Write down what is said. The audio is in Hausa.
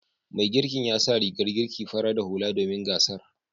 Mai girkin ya sa rigar girki fara da hula domin gasar.